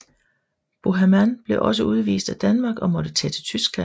Boheman blev også udvist af Danmark og måtte tage til Tyskland